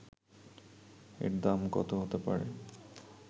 এর দাম কত হতে পারে